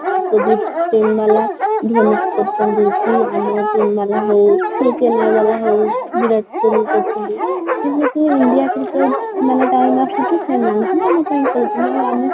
କେବେ ଚେନ୍ନାଇ ଧୋନି କୁ କରୁଛନ୍ତି କି ଆମର team ହଉ କି ଚେନ୍ନାଇ ହଉ ବିରାଟ କୋହଲି କରୁଛନ୍ତି ଯେମିତି india cricket ର ମାନେ time ଆସୁଛି ସେମାନେ ହିଁ ଏମିତି କହୁଛନ୍ତି ଆଉ ଆମେ କ'ଣ କହିବା